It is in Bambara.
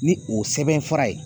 Ni o sɛbɛnfura ye